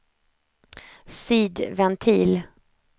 sidventil